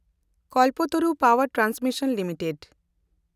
ᱠᱚᱞᱯᱟᱛᱚᱨᱩ ᱯᱟᱣᱮᱱᱰ transmission limited